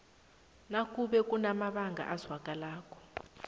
nakube kunamabanga azwakalako